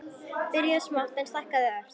Byrjað smátt, en stækkað ört.